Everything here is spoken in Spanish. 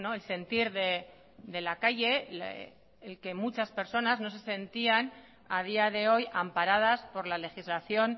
el sentir de la calle el que muchas personas no se sentían a día de hoy amparadas por la legislación